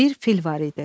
Bir fil var idi.